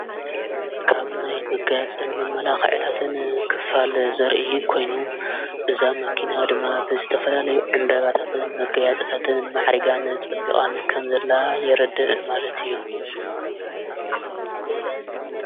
ካብናይ ምጋያጽን መመላኽዕታትን ክፋል ዘርኢ ኮይኑ እዛ መኪና ድማ ብዘተፈላለየ ዕምበባታትን መገያጸታትን መዕሪጋን ጸቢዖን ከምዘላ የርድእ ማለት እዩ::